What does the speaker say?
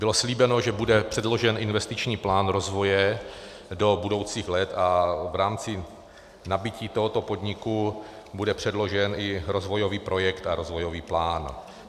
Bylo slíbeno, že bude předložen investiční plán rozvoje do budoucích let a v rámci nabytí tohoto podniku bude předložen i rozvojový projekt a rozvojový plán.